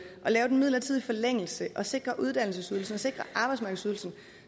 lave den midlertidige forlængelse og sikre uddannelsesydelsen sikre arbejdsmarkedsydelsen